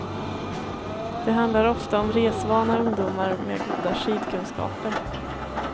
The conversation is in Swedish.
Det handlar ofta om resvana ungdomar, med goda skidkunskaper.